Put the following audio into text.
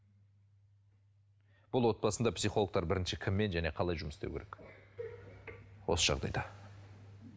бұл отбасында психологтар бірінші кіммен және қалай жұмыс істеу керек осы жағдайда